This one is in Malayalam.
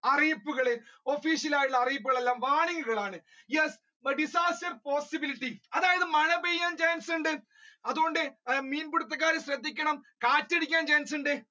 അറിയിപ്പുകൾ official ആയിട്ടുള്ള അറിയിപ്പുകൾ എല്ലാം warning കൾ ആണ് yes, disaster possibilities അതായത് മഴ പെയ്യാൻ chance ഉണ്ട് അത് കൊണ്ട് മിയൻപിടുത്തക്കാർ ശ്രദ്ധിക്കണം, കാറ്റടിക്കാൻ chance ഉണ്ട്